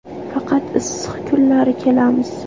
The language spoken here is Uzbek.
Faqat issiq kunlari kelamiz.